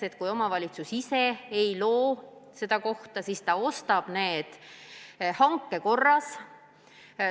Ja kui omavalitsus ise ei loo neid kohti, siis ta ostab need hanke korras.